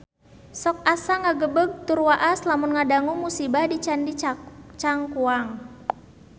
Sok asa ngagebeg tur waas lamun ngadangu musibah di Candi Cangkuang